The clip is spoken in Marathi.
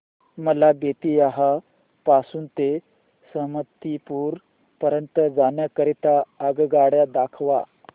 मला बेत्तीयाह पासून ते समस्तीपुर पर्यंत जाण्या करीता आगगाडी दाखवा